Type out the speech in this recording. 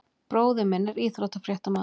Bróðir minn er íþróttafréttamaður.